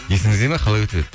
есіңізде ме қалай өтіп еді